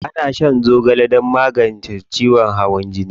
Ana shan zogale don magance ciwon hawan jini.